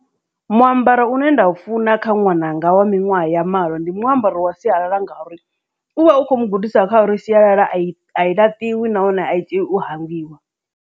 Muambaro une nda u funa kha ṅwananga wa miṅwaha ya malo ndi muambaro wa sialala ngauri u vha u kho mu gudisa kha uri sialala a i a i laṱiwa nahone a i tei u hangwiwa.